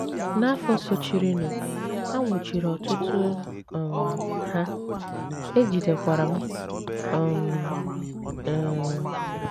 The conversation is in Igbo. N’afọ sochirinụ, a nwụchiri ọtụtụ um Ha, e jidekwara m um. um